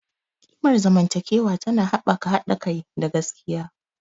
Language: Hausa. Ƙimar zamantakewa tana haɓaka haɗa kai da gaskiya.